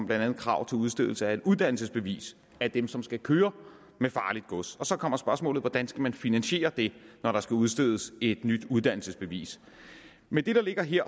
blandt andet krav til udstedelse af et uddannelsesbevis af dem som skal køre med farligt gods så kommer spørgsmålet hvordan skal man finansiere det når der skal udstedes et nyt uddannelsesbevis med det der ligger her